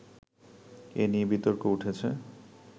এ নিয়ে বিতর্ক উঠেছে